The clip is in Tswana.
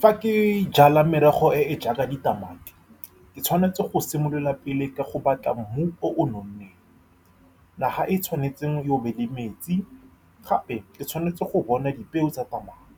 Fa ke jala merogo e e jaaka ditamati, ke tshwanetse go simolola pele ka go batla mmu o o nonneng. Naga e tshwanetseng e be le metsi. Gape, ke tshwanetse go bona dipeo tsa tamati.